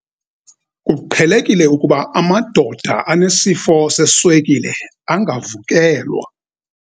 Kuqhelekile ukuba amadoda anesifo seswekile angavukelwa.